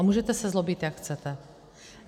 A můžete se zlobit, jak chcete.